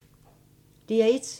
DR1